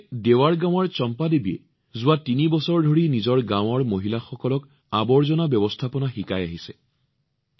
একেদৰে দেৱাৰ গাঁৱৰ চম্পাদেৱীয়ে যোৱা তিনি বছৰ ধৰি তেওঁৰ গাঁৱৰ মহিলাসকলক আৱৰ্জনা ব্যৱস্থাপনা শিকাই আহিছে